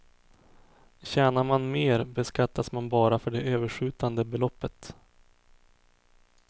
Tjänar man mer beskattas man bara för det överskjutande beloppet.